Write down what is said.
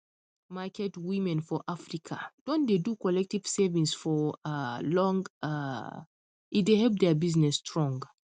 market women for africa don dey do collective savings for um long um e dey help their business strong